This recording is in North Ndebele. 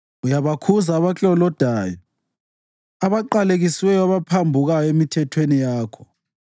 Uyabakhuza abaklolodayo, abaqalekisiweyo abaphambukayo emithethweni yakho.